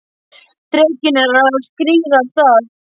Drekinn er að skríða af stað!